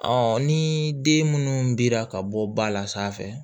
ni den minnu dira ka bɔ ba la sanfɛ